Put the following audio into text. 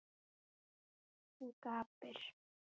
Hún gapir.